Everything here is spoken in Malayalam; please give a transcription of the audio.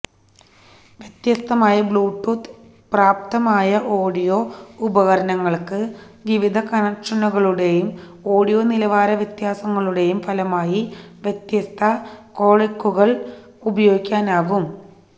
വ്യത്യസ്തമായ ബ്ലൂടൂത്ത് പ്രാപ്തമായ ഓഡിയോ ഉപകരണങ്ങൾക്ക് വിവിധ കണക്ഷനുകളുടെയും ഓഡിയോ നിലവാര വ്യത്യാസങ്ങളുടെയും ഫലമായി വ്യത്യസ്ത കോഡെക്കുകൾ ഉപയോഗിക്കാനാകും